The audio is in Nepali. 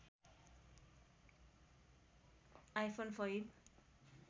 iPhone five